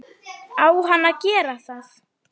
Á hann að gera það?